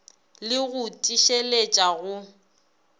le b go tiišeletša go